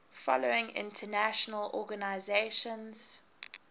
following international organizations